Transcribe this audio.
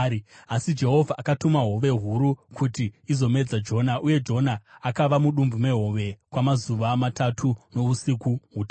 Asi Jehovha akatuma hove huru kuti izomedza Jona, uye Jona akava mudumbu mehove kwamazuva matatu nousiku hutatu.